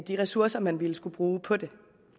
de ressourcer man ville skulle bruge på det